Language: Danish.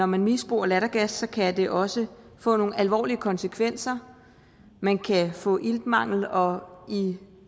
man misbruger lattergas så kan det også få nogle alvorlige konsekvenser man kan få iltmangel og i